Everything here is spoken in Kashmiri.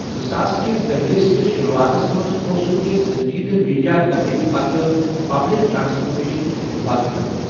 زٕساس کِس دٔہلِہِ کِس شروٗوعاتَس منٛز اوسُکھ کینٛہہ سٔنجیٖدٕ میڈیا کوریج پتہٕ پبلک ٹرانسپورٹیشنٕچ شروعات کٔرمٕژ۔